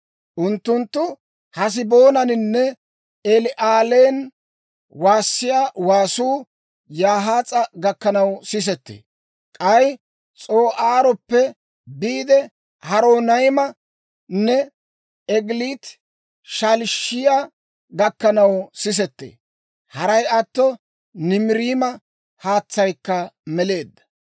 «Unttunttu Haseboonaaninne El"aalen waassiyaa waasuu Yahaas'a gakkanaw sisettee. K'ay S'oo'aaroppe biide, Horonaymanne Egilaati-Shaliishiyaa gakkanaw sisettee. Haray atto Nimiriima haatsaykka meleedda.